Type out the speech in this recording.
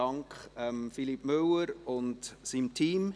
Dank an Philippe Müller und sein Team.